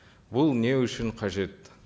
бұл не үшін қажет